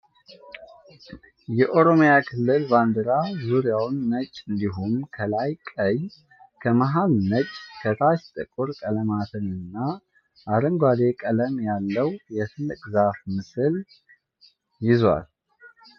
የኦሮሚያ ክልል ባንዲራ ዙሪያውን ነጭ እንዲሁም ከላይ ቀይ፣ ከመሀል ነጭ፣ ከታች ጥቁር ቀለማትን እና አረንጓዴ ቀለም ያለው የትልቅ ዛፍ ምስል የዟል።